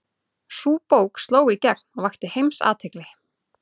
Sú bók sló í gegn og vakti heimsathygli.